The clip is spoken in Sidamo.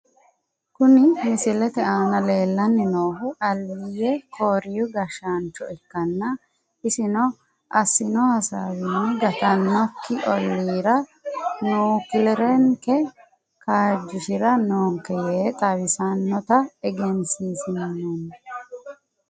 Kuni misilete aana leellanni noohu aliyye kooriyi gashshaancho ikkanna isino assino hasaawinni gattannokki olira nukilerenke kaajjishira noonke yee xawisinota egensiinsoonni.